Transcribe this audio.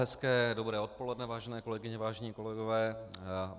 Hezké dobré odpoledne, vážené kolegyně, vážení kolegové.